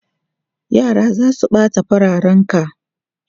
Yara za su ɓata fararenka!